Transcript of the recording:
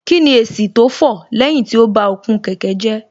Kíni èsì tó fọ̀ lẹ́yìn tí ó ba okùn kẹ̀kẹ́ jẹ́